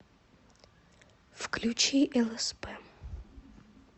включи лсп